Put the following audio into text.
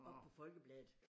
Oppe på Folkebladet